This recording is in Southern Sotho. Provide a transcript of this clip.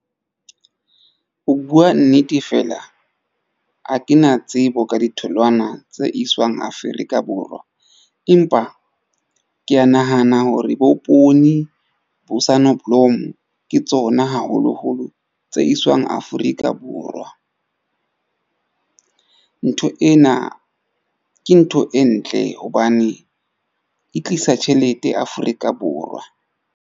Ho bua nnete, fela ha ke na tsebo ka ditholwana tse iswang Afrika Borwa. Empa ke ya nahana hore bo poone bo sonneblom ke tsona haholoholo tse iswang Afrika Borwa. Ntho ena ke ntho e ntle hobane e tlisa tjhelete Afrika Borwa.